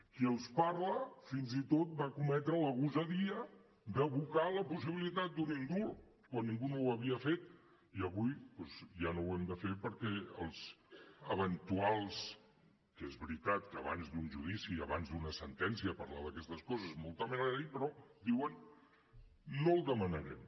qui els parla fins i tot va cometre la gosadia d’evocar la possibilitat d’un indult quan ningú no ho havia fet i avui doncs ja no ho hem de fer perquè els eventuals que és veritat que abans d’un judici i abans d’una sentència és molt temerari parlar d’aquestes coses però diuen no el demanarem